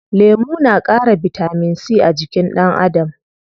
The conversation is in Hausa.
Lemu na ƙara bitamin c a jikin ɗan Adam.